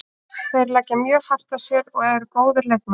Þeir leggja mjög hart að sér og eru góðir leikmenn.